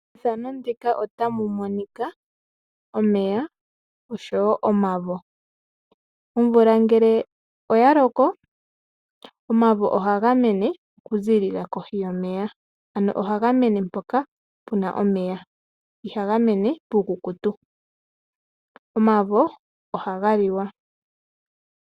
Methano ndika otamu monika omeya osho wo omavo. Omvula ngele oya loko, omavo ohaga mene oku ziilila kohi yomeya ano ohaga mene mpoka puna omeya, ihaga mene puukukutu. Omavo ohaga liwa.